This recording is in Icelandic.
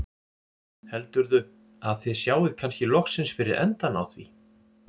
Heldurðu að þið sjáið kannski loksins fyrir endann á því?